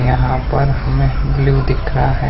यहां पर हमें ब्लू दिख रहा है।